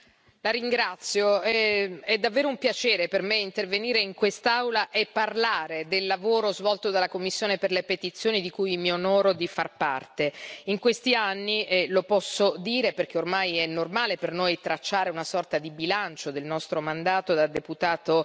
Signor Presidente, onorevoli colleghi, è davvero un piacere per me intervenire in quest'Aula e parlare del lavoro svolto dalla commissione per le petizioni, di cui ho l'onore di far parte. In questi anni e lo posso dire perché ormai è normale per noi tracciare una sorta di bilancio del nostro mandato da deputato